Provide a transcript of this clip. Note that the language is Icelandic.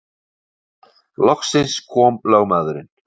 Loksins kom lögmaðurinn.